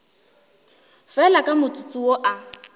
fela ka motsotso wo a